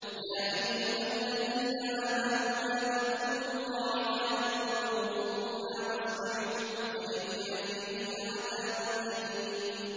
يَا أَيُّهَا الَّذِينَ آمَنُوا لَا تَقُولُوا رَاعِنَا وَقُولُوا انظُرْنَا وَاسْمَعُوا ۗ وَلِلْكَافِرِينَ عَذَابٌ أَلِيمٌ